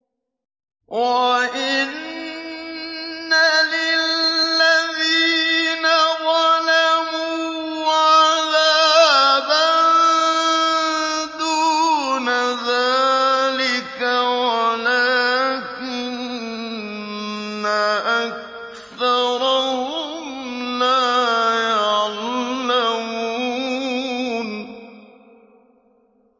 وَإِنَّ لِلَّذِينَ ظَلَمُوا عَذَابًا دُونَ ذَٰلِكَ وَلَٰكِنَّ أَكْثَرَهُمْ لَا يَعْلَمُونَ